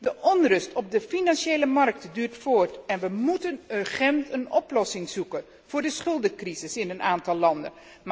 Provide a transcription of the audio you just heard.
De onrust op de financiële markten duurt voort en we moeten urgent een oplossing zoeken voor de schuldencrisis in een aantal landen.